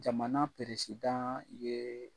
Jamana ye.